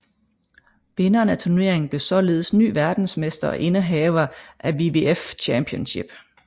Vinderen af turneringen blev således ny verdensmester og indehaver af WWF Championship